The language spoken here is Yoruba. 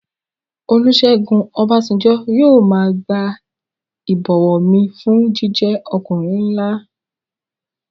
Olúsẹ́gun Ọbásanjọ́ yóò máa gba ìbọ̀wọ̀ mi fún jíjẹ́ ọkùnrin nlá